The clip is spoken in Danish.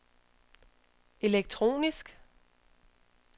elektronisk